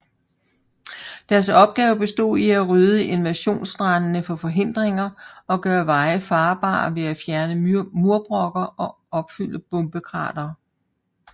Deres opgave bestod i at rydde invasionsstrandene for forhindringer og gøre veje farbare ved at fjerne murbrokker og opfylde bombekratere